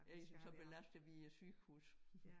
Essen så belaster vi æ sygehuse